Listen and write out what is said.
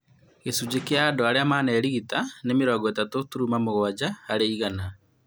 Gĩcunjĩ kĩa andũ arĩa manerigita nĩ mĩrongo ĩtatũ turuma mũgwanja harĩ igana